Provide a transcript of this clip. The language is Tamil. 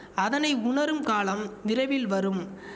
அதனை உணரும் காலம் விரைவில் வரும்